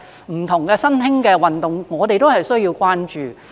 其實很多不同的新興運動，我們也需要關注。